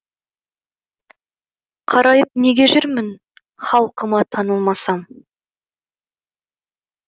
қарайып неге жүрмін халқыма танылмасам